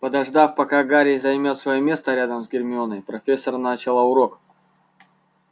подождав пока гарри займёт своё место рядом с гермионой профессор начала урок